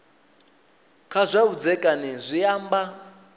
kha zwa vhudzekani zwi amba